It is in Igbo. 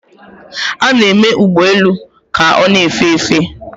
a na-eme ụgbọ elu ka ọ na-efe efe